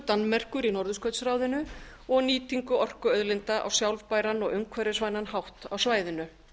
danmerkur í norðurskautsráðinu og nýtingu orkuauðlinda á sjálfbæran og umhverfisvænan hátt á svæðinu